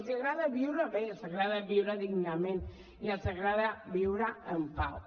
els agrada viure bé els agrada viure dignament i els agrada viure en pau